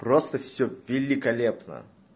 просто всё великолепно